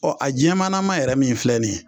a jɛmannama yɛrɛ min filɛ nin ye